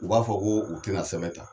U b'a fɔ ko u tɛna sɛbɛn ta